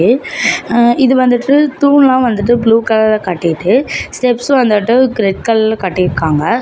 அ இது வந்துட்டு தூண்லா வந்துட்டு ப்ளூ கலர்ல காட்டிட்டு. ஸ்டெப்ஸ் வந்துட்டு ரெட் கலர்ல காட்டிருக்காங்க.